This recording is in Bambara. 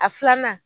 A filanan